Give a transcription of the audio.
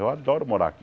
Eu adoro morar aqui.